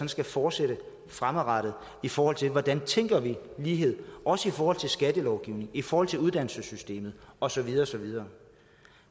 skal forsætte fremadrettet i forhold til hvordan vi tænker lighed også i forhold til skattelovgivningen i forhold til uddannelsessystemet og så videre og så videre